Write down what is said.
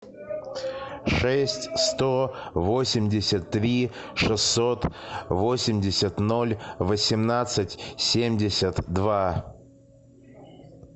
шесть сто восемьдесят три шестьсот восемьдесят ноль восемнадцать семьдесят два